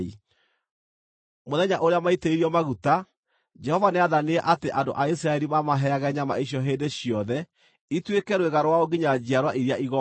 Mũthenya ũrĩa maaitĩrĩirio maguta, Jehova nĩathanire atĩ andũ a Isiraeli mamaheage nyama icio hĩndĩ ciothe ituĩke rwĩga rwao nginya njiarwa iria igooka.